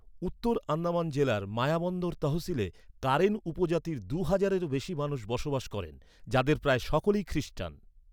উত্তর আন্দামান জেলার মায়াবন্দর তহশিলে কারেন উপজাতির দুই হাজারেরও বেশি মানুষ বসবাস করেন, যাদের প্রায় সকলেই খ্রীস্টান।